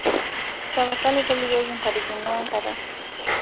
tapasali tolikioki intarikini oe nkata